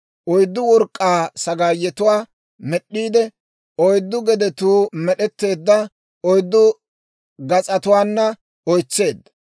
Oyddu work'k'aa sagaayetuwaa med'd'iide oyddu gedetuu med'etteedda oyddu gas'atuwaana oytseedda.